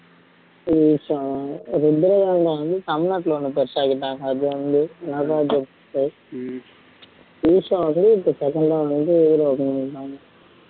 ஈஷா ருத்ரதாண்டவன் வந்து தமிழ்நாட்டுல பெருசாகிட்டாங்க